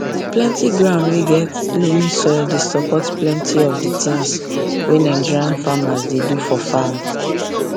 plenty ground wey get loamy soil dey support plenty of the things wey nigerian farmers dey do for farm